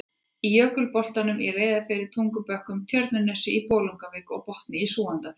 í Jökulbotnum í Reyðarfirði, Tungubökkum á Tjörnesi, í Bolungarvík og Botni í Súgandafirði.